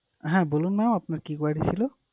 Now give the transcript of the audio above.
হ্যাঁ বলুন mam আপনার কি query ছিলো?